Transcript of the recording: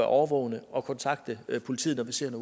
årvågne og kontakte politiet politiet